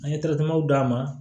An ye d'a ma